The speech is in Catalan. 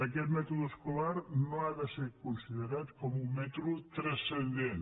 aquest mètode escolar no ha de ser considerat com un mètode transcendent